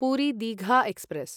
Puri Digha express